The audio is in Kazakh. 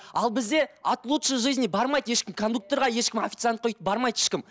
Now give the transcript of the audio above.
ал бізде от лучшей жизни бармайды ешкім кондукторға ешкім официантқа өйтіп бармайды ешкім